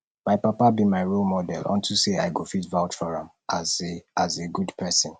my papa be my role model unto say i go fit vouch for am as a as a good person